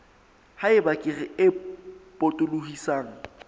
ha eba kere e potolohisang